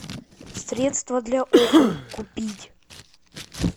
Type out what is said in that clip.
средство для окон купить